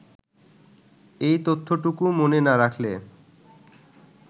এই তথ্যটুকু মনে না রাখলে